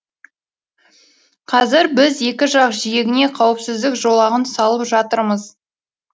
қазір біз екі жақ жиегіне қауіпсіздік жолағын салып жатырмыз